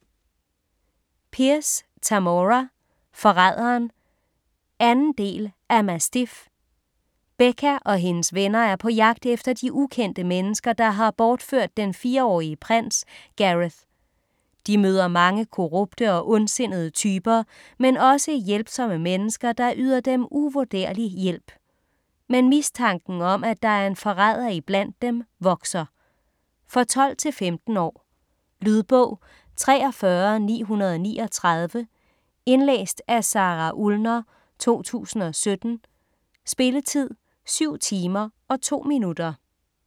Pierce, Tamora: Forræderen 2. del af Mastiff. Beka og hendes venner er på jagt efter de ukendte mennesker, der har bortført den 4-årige prins Gareth. De møder mange korrupte og ondsindede typer, men også hjælpsomme mennesker, der yder dem uvurderlig hjælp. Men mistanken om, at der er en forræder iblandt dem vokser. For 12-15 år. Lydbog 43939 Indlæst af Sara Ullner, 2017. Spilletid: 7 timer, 2 minutter.